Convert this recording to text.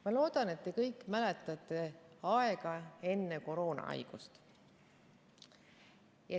Ma loodan, et te kõik mäletate aega enne koroonaviirust.